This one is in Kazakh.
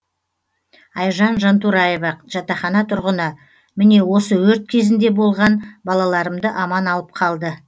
айжан жантұраева жатақхана тұрғыны міне осы өрт кезінде болған балаларымды аман алып қалды